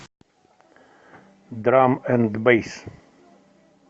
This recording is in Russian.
драм энд бэйс